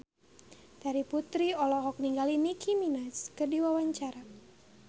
Terry Putri olohok ningali Nicky Minaj keur diwawancara